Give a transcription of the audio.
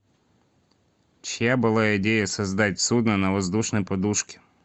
чья была идея создать судно на воздушной подушке